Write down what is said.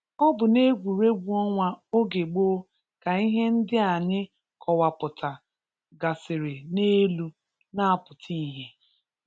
Ọ bụ n’egwurergwu ọnwa oge gboo ka ihe ndị a anyị kọwapụta gasịrị n’elu na-apụta ihe.